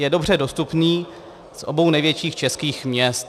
Je dobře dostupný z obou největších českých měst.